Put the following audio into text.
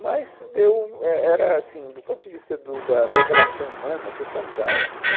Mas, deu, é era assim, do ponto de vista do da da relação humana, foi fantástico.